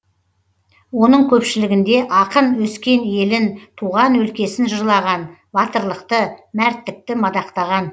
оның көпшілігінде ақын өскен елін туған өлкесін жырлаған батырлықты мәрттікті мадақтаған